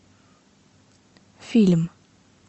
фильм